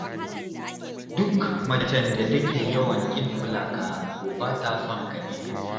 Duk macen da take yawan ƙin kula ka, to ba ta son ka ne.